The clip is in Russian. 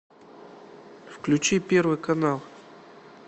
включи первый канал